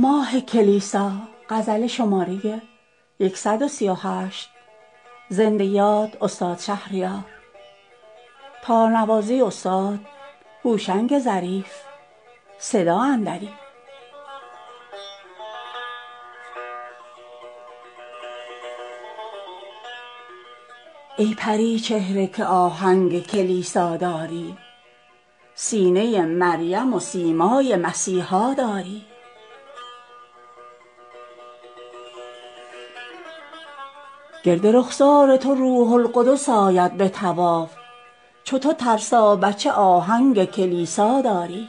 ای پریچهره که آهنگ کلیسا داری سینه مریم و سیمای مسیحا داری گرد رخسار تو روح القدس آید به طواف چو تو ترسابچه آهنگ کلیسا داری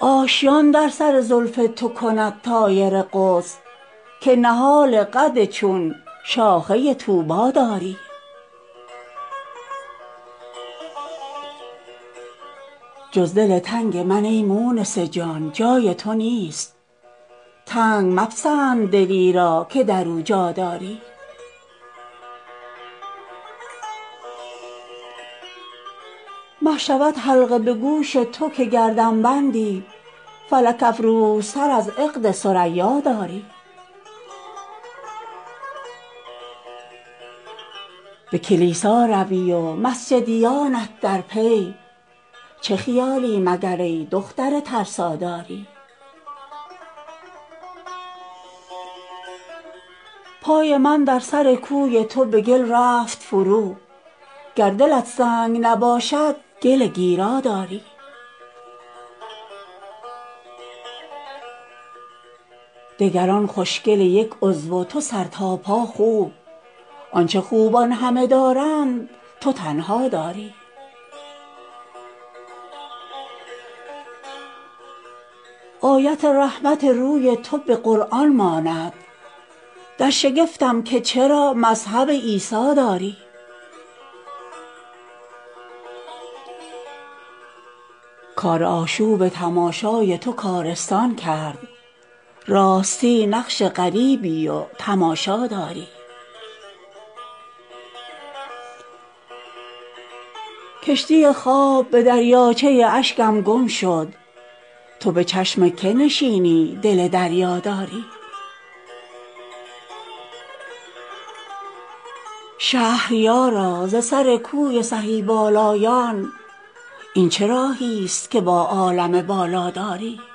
آشیان در سر زلف تو کند طایر قدس که نهال قد چون شاخه طوبا داری جز دل تنگ من ای مونس جان جای تو نیست تنگ مپسند دلی را که در او جا داری مه شود حلقه به گوش تو که گردن بندی فلک افروزتر از عقد ثریا داری به کلیسا روی و مسجدیانت در پی چه خیالی مگر ای دختر ترسا داری پای من در سر کوی تو به گل رفت فرو گر دلت سنگ نباشد گل گیرا داری آتشین صاعقه ام بر سر سودایی زد دختر این چکمه برقی که تو در پا داری دگران خوشگل یک عضو و تو سر تا پا خوب آنچه خوبان همه دارند تو تنها داری آیت رحمت روی تو به قرآن ماند در شگفتم که چرا مذهب عیسی داری کار آشوب تماشای تو کارستان کرد راستی نقش غریبی و تماشا داری کشتی خواب به دریاچه اشکم گم شد تو به چشم که نشینی دل دریا داری شهریارا ز سر کوی سهی بالایان این چه راهی ست که با عالم بالا داری